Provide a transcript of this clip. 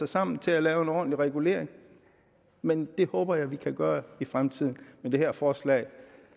sammen til at lave en ordentlig regulering men det håber jeg vi kan gøre i fremtiden men det her forslag